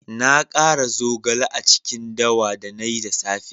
Na kara zogale a cikin dawa da na yi da safe